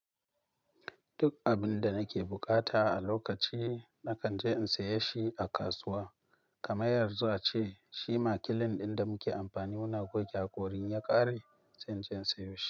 Duk abin da nake buƙata a lokaci, na kan je in saye shi a kasuwa. Kamar yanzu ace, shima kilin ɗin da muke amfani muna goge haƙorin ya ƙare, sai in je in sayo shi.